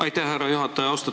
Aitäh, härra juhataja!